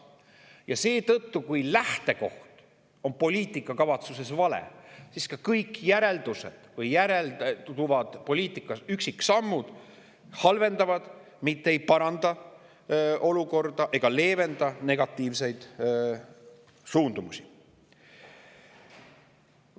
Ja kui poliitikakavatsuses on lähtekoht vale, siis kõik järelduvad poliitika üksiksammud halvendavad, mitte ei paranda olukorda ega leevenda negatiivseid suundumusi.